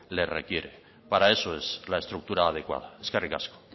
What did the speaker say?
le requiere para eso es la estructura adecuada eskerrik asko